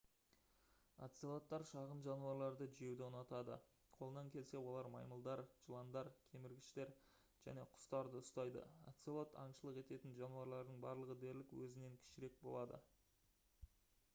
оцелоттар шағын жануарларды жеуді ұнатады қолынан келсе олар маймылдар жыландар кеміргіштер және құстарды ұстайды оцелот аңшылық ететін жануарлардың барлығы дерлік өзінен кішірек болады